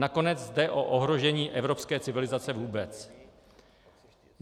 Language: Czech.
Nakonec jde o ohrožení evropské civilizace vůbec.